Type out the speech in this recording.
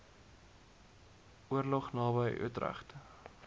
oorlog naby utrecht